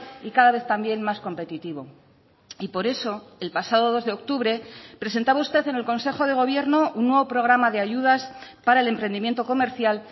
y cada vez también más competitivo y por eso el pasado dos de octubre presentaba usted en el consejo de gobierno un nuevo programa de ayudas para el emprendimiento comercial